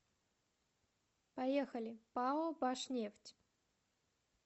поехали пао башнефть